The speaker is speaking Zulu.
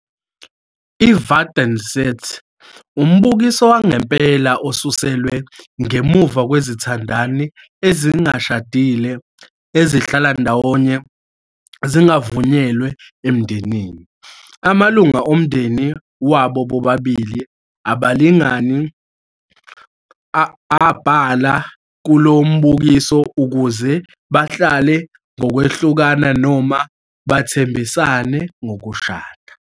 IVat n Sit - Umbukiso wangempela osuselwe ngemuva kwezithandani ezingashadile ezihlala ndawonye zingavunyelwe emindenini. Amalungu omndeni wabo bobabili abalingani abhalela kulo mbukiso ukuze bahlale ngokwehlukana noma bathembisane ngokushada.